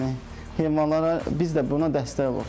Yəni heyvanlara biz də buna dəstək oluruz.